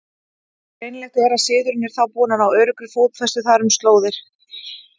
Greinilegt er, að siðurinn er þá búinn að ná öruggri fótfestu þar um slóðir.